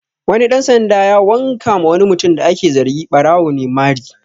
Wani ɗan sanda ya wanka ma wani mutum da ake zargi ɓarawo ne mari